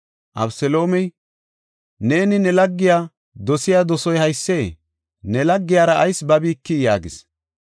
Abeseloomey, “Neeni ne laggiya dosiya dosoy haysee? Ne laggiyara ayis babikii?” yaagis.